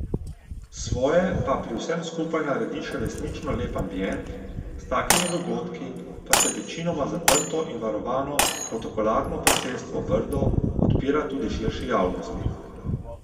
Svoje pa pri vsem skupaj naredi še resnično lep ambient, s takimi dogodki pa se večinoma zaprto in varovano Protokolarno posestvo Brdo odpira tudi širši javnosti.